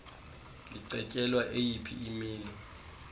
licetyelwa eyiphi imilo